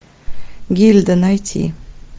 гильда найти